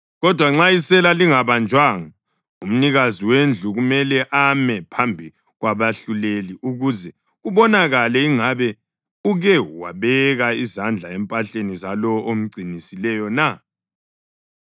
Kodwa nxa isela lingabanjwanga, umnikazi wendlu kumele ame phambi kwabahluleli ukuze kubonakale ingabe uke wabeka izandla empahleni zalowo omgcinisileyo na.